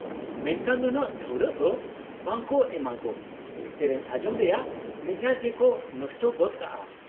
-ᱢᱮᱱᱠᱷᱟᱱ ᱱᱩᱱᱟᱹᱜ ᱰᱷᱟᱹᱣᱨᱟᱹᱜ ᱫᱚ ᱵᱟᱝ ᱠᱚ ᱮᱢᱟ ᱜᱳ, ᱥᱮᱹᱨᱮᱹᱧ ᱟᱸᱡᱚᱢ ᱨᱮᱭᱟᱜ ᱢᱮᱡᱟᱡ ᱜᱮᱠᱚ ᱱᱚᱥᱴᱚ ᱜᱚᱫ ᱠᱟᱜᱼᱟ ᱾